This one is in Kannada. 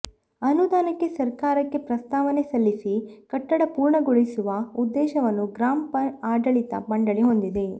ಅನುದಾನಕ್ಕೆ ಸರ್ಕಾರಕ್ಕೆ ಪ್ರಸ್ತಾವನೆ ಸಲ್ಲಿಸಿ ಕಟ್ಟಡ ಪೂರ್ಣ ಗೊಳಿಸುವ ಉದ್ದೇಶವನ್ನು ಗ್ರಾಪಂ ಆಡಳಿತ ಮಂಡಳಿ ಹೊಂದಿದೆ